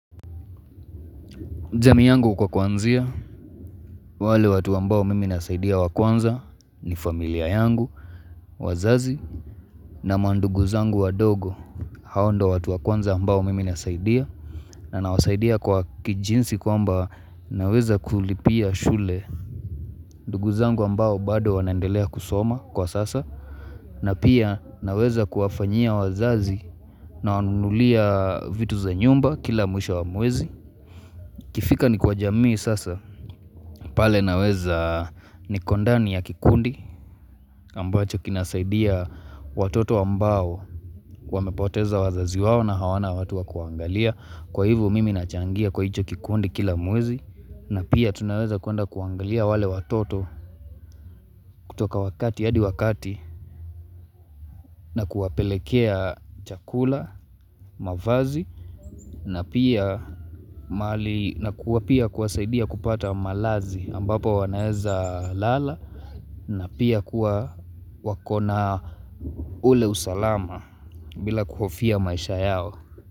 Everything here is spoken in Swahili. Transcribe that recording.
Jamii yangu kwa kuanzia, wale watu ambao mimi nasaidia wakwanza ni familia yangu, wazazi na mandugu zangu wadogo hao ndo watu wakwanza ambao mimi nasaidia na nawasaidia kwa kijinsi kwamba naweza kulipia shule. Ndugu zangu ambao bado wanendelea kusoma kwa sasa na pia naweza kuwafanyia wazazi na wanulia vitu za nyumba kila mwisha wa mwezi. Ikifika ni kwa jamii sasa, pale naweza niko ndani ya kikundi ambacho kinasaidia watoto ambao wamepoteza wazazi wao na hawana watua kuangalia Kwa hivu mimi nachangia kwa hicho kikundi kila mwezi na pia tunaweza kuenda kuwaangalia wale watoto kutoka wakati ya hadi wakati na kuwapelekea chakula, mavazi na kuwa pia kuwasaidia kupata malazi ambapo wanaeza lala na pia kuwa wakona ule usalama bila kuhofia maisha yao.